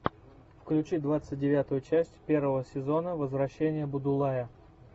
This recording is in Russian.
включи двадцать девятую часть первого сезона возвращение будулая